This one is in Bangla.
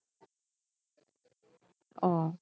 ও